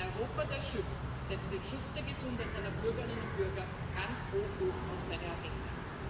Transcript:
Ein Europa, das schützt, setzt den Schutz der Gesundheit seiner Bürgerinnen und Bürger ganz hoch oben auf seine Agenda.